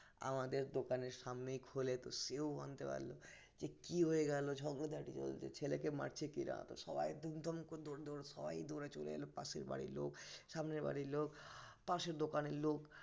আমাদের দোকানের সামনেই খুলে তো সেও জানতে পারলো যে কি হয়ে গেল ঝগড়াঝাটি চলছে ছেলেকে মারছে কিনা তো সবাই ধুমধাম করে দৌড়াতে দৌড়াতে সবাই চলে এলো পাশের বাড়ির লোক সামনে বাড়ির লোক পাশে দোকানের লোক